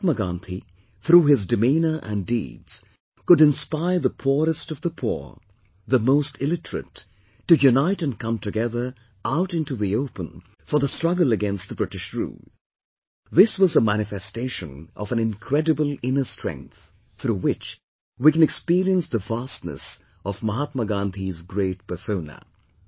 Mahatma Gandhi, through his demeanour and deeds, could inspire the poorest of the poor, the most illiterate, to unite and come together out into the open for the struggle against the British Rule; this was a manifestation of an incredible inner strength, through which we can experience the vastness of Mahatma Gandhi's great persona